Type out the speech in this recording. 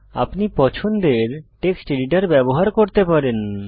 আপনি পছন্দের text editor ব্যবহার করতে পারেন